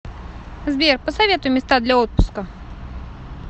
сбер посоветуй места для отпуска